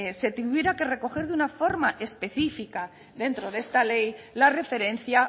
se tuviera que recoger de una forma específica dentro de esta ley la referencia